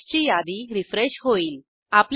पॅकेजची यादी रीफ्रेश होईल